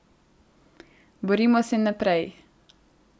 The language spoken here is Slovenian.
Borimo se naprej.